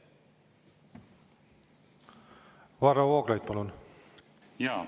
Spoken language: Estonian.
Varro Vooglaid, palun!